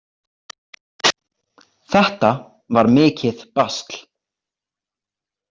Þetta var mikið basl.